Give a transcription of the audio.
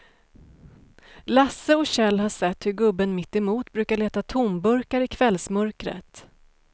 Lasse och Kjell har sett hur gubben mittemot brukar leta tomburkar i kvällsmörkret.